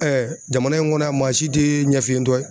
jamana in kɔnɔ yan maa si tɛ ɲɛfiyentɔ ye.